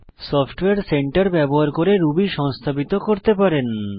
software centre ব্যবহার করে Ruby সংস্থাপিত করতে পারেন